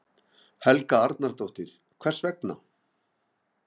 Helga Arnardóttir: Hvers vegna?